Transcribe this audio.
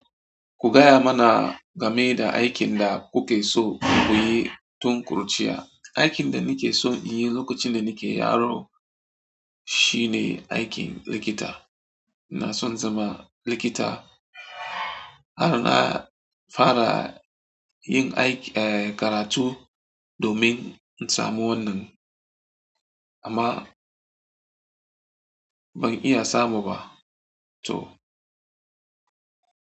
Ku gaya mana game da aikin da kuke so ku yi tun kuruciya. Aikin da nake son yin lokacin da nake yaro shine aikin likita. Na son zama likita. Har na fara yin aiki, eh, karatu domin in samu wannan, amma ban iya samu ba. To.